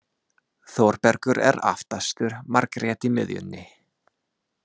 Þórbergur er aftastur, Margrét í miðjunni.